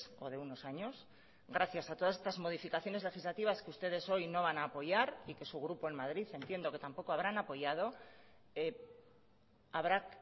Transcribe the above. o de unos años gracias a todas estas modificaciones legislativas que ustedes hoy no van a apoyar y que su grupo en madrid entiendo que tampoco habrán apoyado habrá